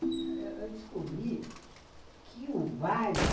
Eu descobri que o bairro